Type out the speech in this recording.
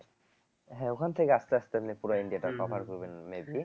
হ্যাঁ ওখান থেকে আস্তে আস্তে আপনি পুরা ইন্ডিয়াটা cover করবেন